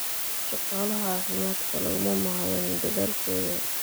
Shaqaalaha caafimaadka laguma mahadin dadaalkooda.